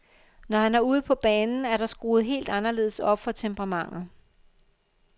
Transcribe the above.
Når han er ude på banen, er der skruet helt anderledes op for temperamentet.